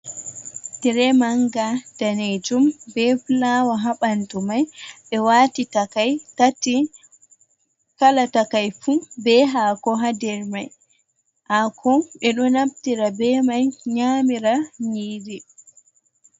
Tire manga danejum be fulawa ha ɓandu mai ɓe wati takai tati kala takai fu ɓe hako ha nder mai hako ɓe ɗo naftira be mai nyamira nyiiri.